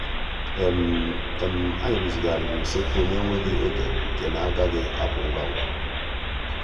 ànyị́ rụ́zị́ghàrị́rị́ usekwu nà-énwéghị́ oge nke nà-ágàghị́ ápụ́ ngwa ngwa.